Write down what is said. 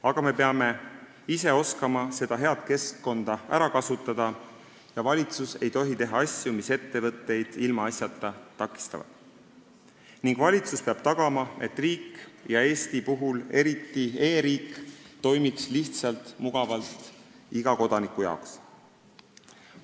Aga me peame oskama seda head keskkonda ära kasutada ja valitsus ei tohi teha asju, mis ettevõtteid ilmaasjata takistavad, ning valitsus peab tagama, et riik – Eestis eriti e-riik – toimiks lihtsalt ja mugavalt iga kodaniku jaoks.